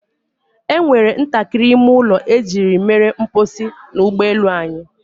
E nwere ntakịrị ime ụlọ ejiri mere mposi n'ụgbọ elu anyị.